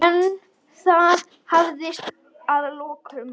En það hafðist að lokum.